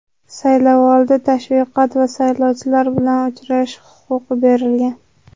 saylovoldi tashviqoti va saylovchilar bilan uchrashish huquqi berilgan.